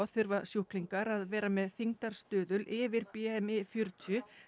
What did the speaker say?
þurfa sjúklingar að vera með þyngdarstuðul yfir fjörutíu